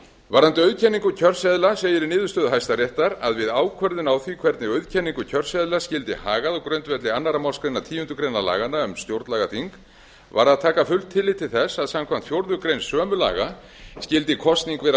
varðandi auðkenningu kjörseðla segir í niðurstöðu hæstaréttar að við ákvörðun á því hvernig auðkenningu kjörseðla skyldi hagað á grundvelli annarrar málsgreinar tíundu grein laganna um stjórnlagaþing varð að taka fullt tillit til þess að samkvæmt fjórðu grein sömu laga skyldi kosning vera